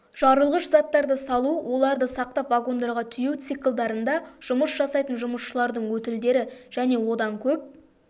жарылғыш заттарды салу оларды сақтап вагондарға тиеу циклдарында жұмыс жасайтын жұмысшылардың өтілдері және одан көп